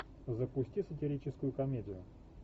запусти сатирическую комедию